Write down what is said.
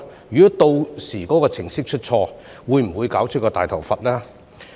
如果屆時該程式出錯，會否搞出"大頭佛"呢？